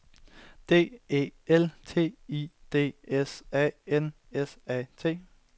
D E L T I D S A N S A T